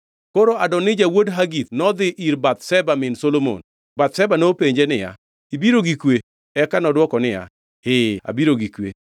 Koro Adonija wuod Hagith nodhi ir Bathsheba min Solomon. Bathsheba nopenje niya, “Ibiro gi kwe?” Eka nodwoko niya, “Ee abiro gi kwe.”